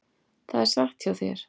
Það er satt hjá þér.